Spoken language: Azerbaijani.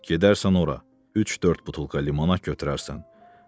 Gedərsən ora, üç-dörd butulka limonad götürərsən.